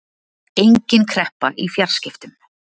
Engin kreppa í fjarskiptum